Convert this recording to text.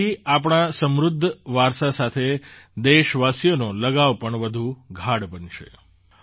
તેનાથી આપણા સમૃદ્ધ વારસા સાથે દેશવાસીઓનો લગાવ પણ વધુ ગાઢ બનશે